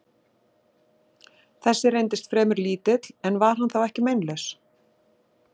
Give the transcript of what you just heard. Þessi reyndist fremur lítill, en var hann þá ekki meinlaus?